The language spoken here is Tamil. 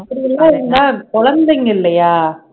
அப்படியெல்லாம் இருந்தா குழந்தைங்க இல்லையா